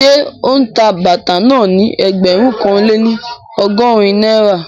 Ṣé ó ń ta bàtà náà ní ẹgbẹ̀rún kan lé ní ọgọ́rin náírà?